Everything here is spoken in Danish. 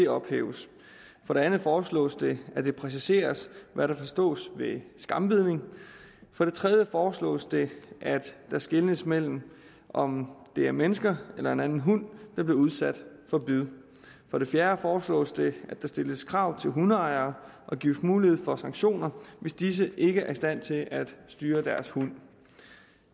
ophæves for det andet foreslås det at det præciseres hvad der forstås ved skambidning for det tredje foreslås det at der skelnes mellem om det er mennesker eller en anden hund der bliver udsat for bid for det fjerde foreslås det at der stilles krav til hundeejere og gives mulighed for sanktioner hvis disse ikke er i stand til at styre deres hund